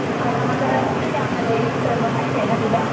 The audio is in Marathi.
आणि खड़े मसाला आहे त्या मधे सर्व काही त्या मध्ये माहित आहे न तुला